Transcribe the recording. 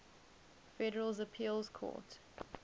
federal appeals court